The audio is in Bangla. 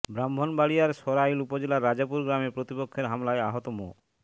ব্রাহ্মণবাড়িয়ার সরাইল উপজেলার রাজাপুর গ্রামে প্রতিপক্ষের হামলায় আহত মো